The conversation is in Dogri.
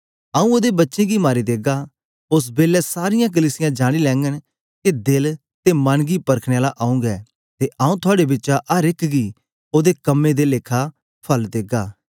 आऊँ ओदे बच्चें गी मारी देगा ओस बेलै सारीयां कलीसिया जानी लेघंन के दिल ते मन गी परखने आला आऊँ गै ते आऊँ थआड़े बिचा अर एक गी ओदे कम्में दे लेखा फल देगा